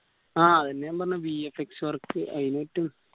ആ അതെന്നെ ഞാൻ പറഞ്ഞേ VFXwork അയിന്